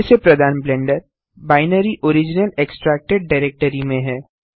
पहले से प्रदान blender binary original extracted directory में है